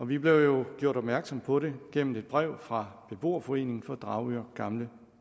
vi blev jo gjort opmærksom på det gennem et brev fra beboerforeningen for dragør gamle